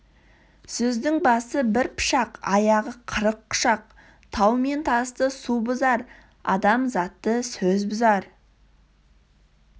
сөздің басы бір пышақ аяғы қырық құшақ тау мен тасты су бұзар адамзатты сөз бұзар